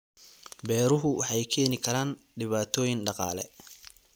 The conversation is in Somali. Beeruhu waxay keeni karaan dhibaatooyin dhaqaale.